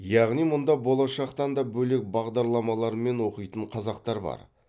яғни мұнда болашақтан та бөлек бағдарламалармен оқитын қазақтар бар